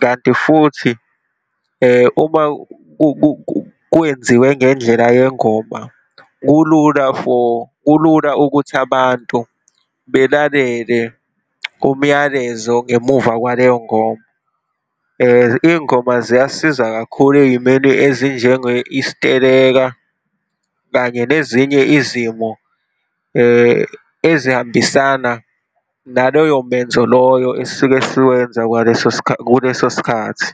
kanti futhi, uma kwenziwe ngendlela yengoma, kulula for, kulula ukuthi abantu belalele kumyalezo ngemuva kwaleyo ngoma. Iy'ngoma ziyasiza kakhulu ey'meni ezinjenge, isiteleka kanye nezinye izimo ezihambisana naloyo menzo loyo esisuke siwenza kwaleso, kuleso sikhathi.